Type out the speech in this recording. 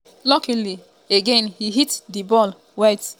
luckily again e hit di ball wit